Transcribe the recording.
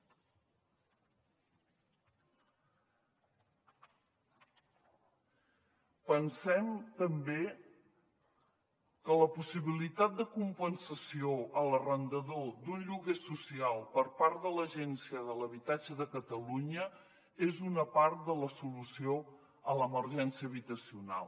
pensem també que la possibilitat de compensació a l’arrendador d’un lloguer social per part de l’agència de l’habitatge de catalunya és una part de la solució a l’emergència habitacional